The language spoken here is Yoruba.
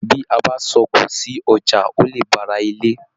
Bí a bá sọ òkò sí ọjà, o le bá ará ilé.